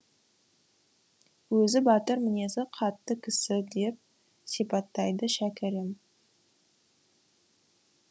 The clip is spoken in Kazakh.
өзі батыр мінезі қатты кісі деп сипаттайды шәкәрім